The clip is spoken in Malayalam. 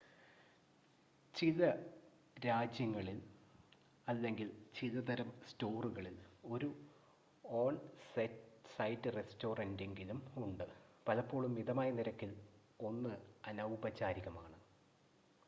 ചില രാജ്യങ്ങളിൽ അല്ലെങ്കിൽ ചില തരം സ്റ്റോറുകളിൽ 1 ഓൺ-സൈറ്റ് റെസ്റ്റോറൻ്റെങ്കിലും ഉണ്ട് പലപ്പോഴും മിതമായ നിരക്കിൽ 1 അനൗപചാരികമാണ്